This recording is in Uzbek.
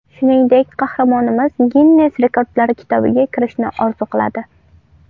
Shuningdek, qahramonimiz Ginnes rekordlari kitobiga kirishni orzu qiladi.